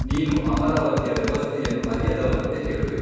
ನೀನು ಅಮರಾವತಿಯ ವ್ಯವಸ್ಥೆಯನ್ನು ಅರಿಯದವನಂತೆ ಹೇಳುವೆ.